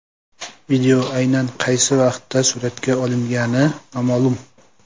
Video aynan qaysi vaqtda suratga olingani noma’lum.